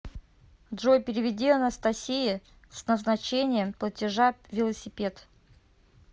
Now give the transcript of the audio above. джой переведи анастасие с назначением платежа велосипед